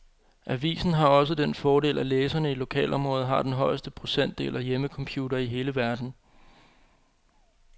Avisen har også den fordel, at læserne i lokalområdet har den højeste procentdel af hjemmecomputere i hele verden.